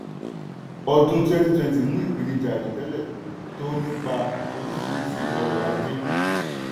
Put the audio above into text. ọdún 2020 mú ìpèníjà àìròtẹ́lẹ̀ tó nípa oríṣìíríṣìí ọrọ̀ ajé.